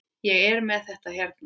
Ég er með þetta hérna.